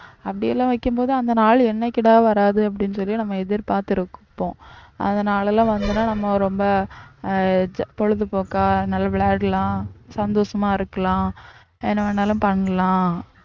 அப்படி எல்லாம் வைக்கும்போது அந்த நாள் என்னைக்குடா வராது அப்படின்னு சொல்லி நம்ம எதிர்பார்த்திருப்போம். அந்த நாளெல்லாம் வந்துன்னா நம்ம ரொம்ப ஆஹ் பொழுதுபோக்கா நல்ல விளையாடலாம் சந்தோஷமா இருக்கலாம் என்ன வேணாலும் பண்ணலாம்